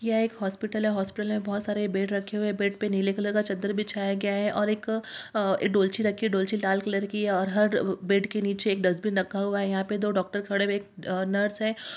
यह एक हॉस्पिटल है | हॉस्पिटल में बहुत सारे बेड रखे हुए हैं | बेड पे नीले कलर का चादर बिछाया गया है और एक अ डोलची रखी है | डोलची लाल कलर की है और हर ब-बेड के नीचे एक डस्टबिन रखा हुआ है | यहां पर दो डॉक्टर खड़े हुए हैं अ एक नर्स है।